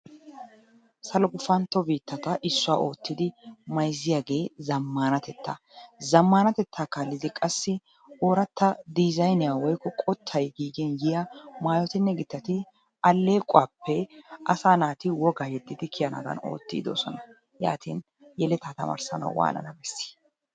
Salo gufantto biittata issuwa oottidi mayzziyagee zammaanatettaa. Zammaanatettaa kaallidi qassi ooratta diizayniya woykko qottay giigin yiya maayotinne gittati alleequwappe asaa naati wogaa yeddidi kiyanaadan oottiiddi doosona. Yaatin yeletaa tamarssanawu waanana bessii?